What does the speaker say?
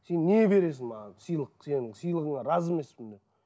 сен не бересің маған сыйлық сенің сыйлығыңа разы емеспін мен